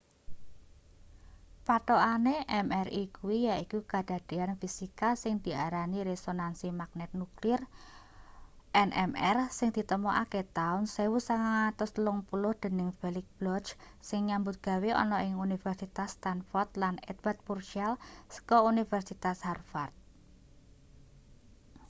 pathokane mri kuwi yaiku kadadean fisika sing diarani resonansi magnet nuklir nmr sing ditemokake taun 1930 dening felix bloch sing nyambut gawe ana ing universitas stanford lan edward purcell saka universitas harvard